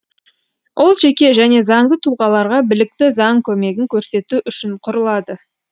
ол жеке және заңды тұлғаларға білікті заң көмегін көрсету үшін құрылады